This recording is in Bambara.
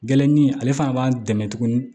Gɛrɛnin ale fana b'an dɛmɛ tuguni